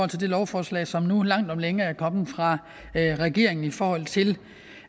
til det lovforslag som nu langt om længe er kommet fra regeringen i forhold til